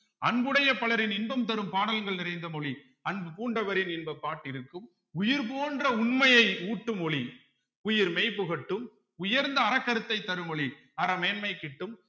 அன்புடைய பலரின் இன்பம் தரும் பாடல்கள் நிறைந்த மொழி அன்பு பூண்டவரின் இன்பப் பாட்டிருக்கும் உயிர் போன்ற உண்மையை ஊட்டும் மொழி உயிர் மெய் புகட்டும் உயர்ந்த அறக்கருத்தை தரும் மொழி அற மேன்மை கிட்டும்